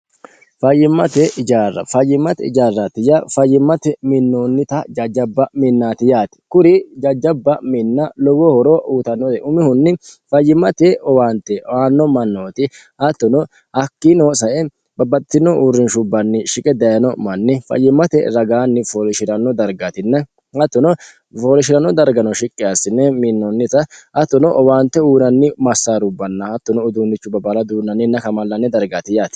fayimmate ijarra fayimmate ijarratiya fayyimmate minnuonnita jajjabba minnaati yaati kuri jajjabba minna lowo horo uutannote umihunni fayyimmate owaante waanno mannooti hattuno hakkiinoo sae babbaxtino uurrinshubbanni shiqe dayino manni fayyimmate ragaanni foolishi'rano dargatinna hattono foolosh'ranno dargano shiqqe assine minnoonnita hattuno owaante uuranni massaarubbanna hattuno uduunnichu babaala duunnanninna kamallanne dargaatiyaati